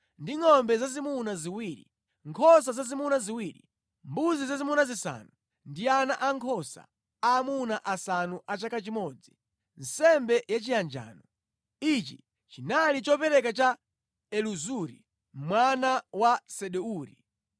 ndi ngʼombe zazimuna ziwiri, nkhosa zazimuna ziwiri, mbuzi zazimuna zisanu ndi ana ankhosa aamuna asanu a chaka chimodzi, nsembe yachiyanjano. Ichi chinali chopereka cha Elizuri mwana wa Sedeuri.